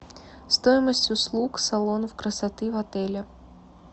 стоимость услуг салонов красоты в отеле